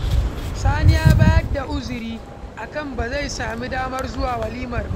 Sani ya bayar da uzuri akan ba zai sami damar zuwa walimar ba.